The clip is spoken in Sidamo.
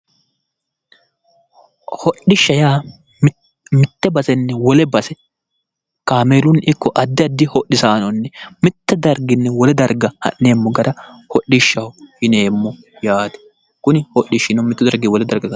Hodhishsha yaa mitte basenni wole base kaameelunni ikko addi addi hodhisaanonni mittu darginni wole darga ha'neemmo gara hodhishshaho yineemmo yaate. Kuni hodhishshino mittu dargiyi wole darga.